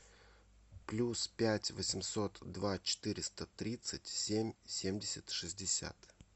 плюс пять восемьсот два четыреста тридцать семь семьдесят шестьдесят